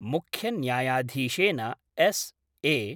मुख्यन्यायधीशेन एस.ए.